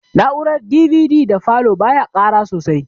Na'urar DVD da falow ba ya ƙara sosai